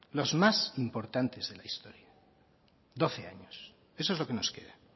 los más importantes de la historia doce años eso es lo que nos queda